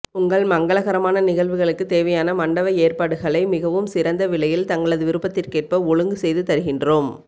உங்கள் மங்களகரமான நிகழ்வுகளுக்கு தேவையான மண்டப ஏற்பாடுகளை மிகவும் சிறந்த விலையில் தங்களது விருப்பத்திற்கேற்ப்ப ஒழுங்கு செய்து தருகின்றோம்